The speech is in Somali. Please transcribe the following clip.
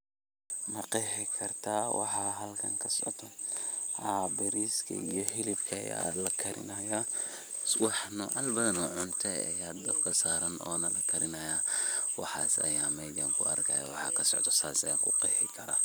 Haa wan qexi karaa oo cunta iyo xilib lakarinayo ayaa mesha kasocdan oo marka sas ayan aniga kuqexi karaa.